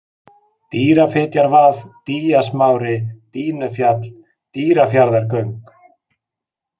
Dýjafitjarvað, Dýjasmári, Dýnufjall, Dýrafjarðargöng